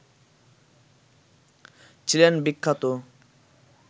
ছিলেন বিখ্যাত